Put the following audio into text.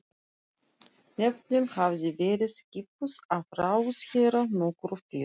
Nefndin hafði verið skipuð af ráðherra nokkru fyrr.